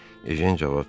Ejən cavab verdi.